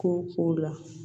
Ko ko la